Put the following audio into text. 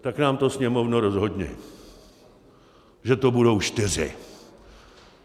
Tak nám to, Sněmovno, rozhodni, že to budou čtyři.